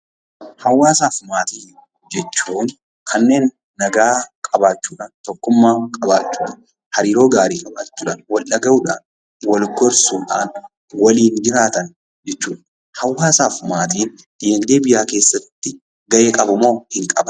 Hawaasaa fi Maatii jechuun kanneen nagaa qabachuudhaan, tokkummaa qabaachuudhaan, hariiroo gaarii qabachuudhaan, wal dhaga'uudhaan, wal gorsuudhaan waliin jiraatan jechuu dha. Hawaasaa fi maatiin dinagdee biyyaa keessatti gahee qabu moo hin qaban?